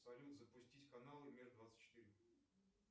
салют запустить каналы мир двадцать четыре